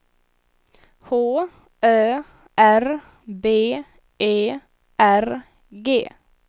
H Ö R B E R G